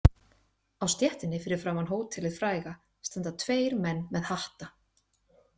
Á stéttinni fyrir framan hótelið fræga standa tveir menn með hatta.